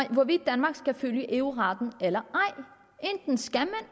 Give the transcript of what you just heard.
om hvorvidt danmark skal følge eu retten eller ej enten skal man